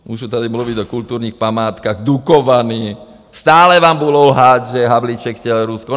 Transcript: Můžu tady mluvit o kulturních památkách, Dukovany, stále vám budou lhát, že Havlíček chtěl Rusko.